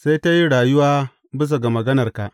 Sai ta yin rayuwa bisa ga maganarka.